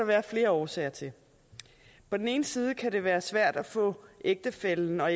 være flere årsager til på den ene side kan det være svært at få ægtefællen og